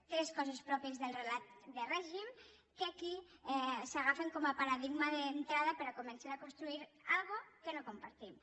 tres coses pròpies del relat de règim que aquí s’agafen com a paradigma d’entrada per a començar a construir una cosa que no compartim